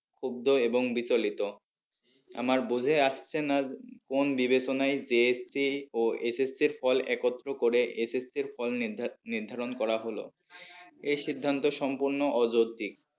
ক্ষুদ্ধ এবং বিচলিত আমার বুঝে আসছে না কোন বিবেচনায় JSC ও SSC র ফল একত্র করে SSC ফল নির্ধারণ করা হলো এই সিদ্ধান্ত সম্পূর্ণ অযৌতিক।